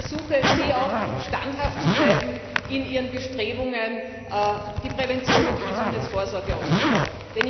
Ich ersuche sie auch, standhaft zu bleiben in Ihren Bestrebungen, die Prävention und die Gesundheitsvorsorge auszubauen.